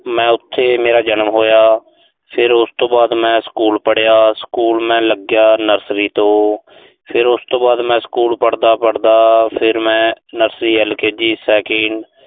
ਮੈਂ ਉਥੇ ਮੇਰਾ ਜਨਮ ਹੋਇਆ। ਫਿਰ ਉਸ ਤੋਂ ਬਾਅਦ ਮੈਂ school ਪੜ੍ਹਿਆ। school ਮੈਂ ਲੱਗਿਆ nursery ਤੋਂ। ਫਿਰ ਉਸ ਤੋਂ ਬਾਅਦ ਮੈਂ school ਪੜ੍ਹਦਾ-ਪੜ੍ਹਦਾ, ਫਿਰ ਮੈਂ nurseryL. K. G. second